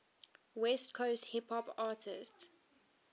west coast hip hop artists